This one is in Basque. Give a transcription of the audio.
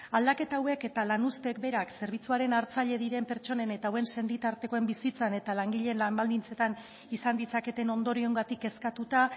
aldaketa hauek eta lan uzteek berak zerbitzuaren hartzaile diren pertsonen hauen senitartekoen bizitzan eta langileen lan baldintzetan izan ditzaketen ondorioengatik kezkatuta